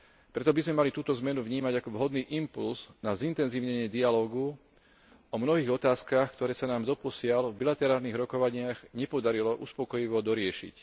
Preto by sme mali túto zmenu vnímať ako vhodný impulz na zintenzívnenie dialógu o mnohých otázkach, ktoré sa nám doposiaľ v bilaterálnych rokovaniach nepodarilo uspokojivo doriešiť.